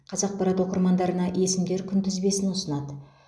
қазақпарат оқырмандарына есімдер күнтізбесін ұсынады